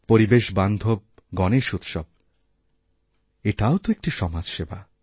পরিবেশবান্ধব গণেশ উৎসব এটাও তো একটি সমাজ সেবা